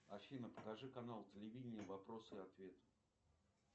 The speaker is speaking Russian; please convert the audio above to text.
афина покажи канал телевидения вопросы и ответы